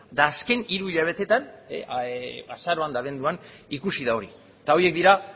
eta azken hiru hilabeteetan azaroan eta abenduan ikusi da hori eta horiek dira